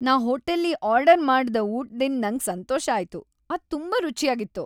ನಾನ್ ಹೋಟೆಲ್ಲಿ ಆರ್ಡರ್ ಮಾಡ್ದ ಊಟದಿಂದ್ ನಂಗ್ ಸಂತೋಷ ಆಯ್ತು. ಅದ್ ತುಂಬಾ ರುಚಿಯಾಗಿತ್ತು.